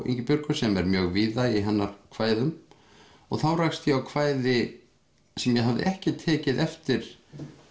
Ingibjörgu sem er mjög víða í hennar kvæðum og þá rakst ég á kvæði sem ég hafði ekki tekið eftir